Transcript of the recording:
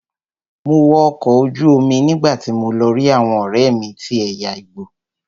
Mo wọ ọkọ̀ ojú omi nígbàtí mo lọ rí àwọn ọ̀rẹ́mi tí ẹ̀yà igbo.